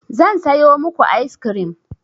Zan sayo muku ice cream.